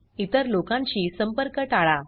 इतर लोकांशी संपर्क टाळा